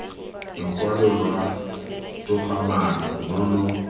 lokwalo lwa togamaano lo lo